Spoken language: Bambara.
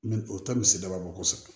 O tɛ misi daba kɔnɔ kosɛbɛ